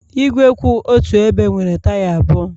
Igwe kwụ otu ebe nwere taya abụọ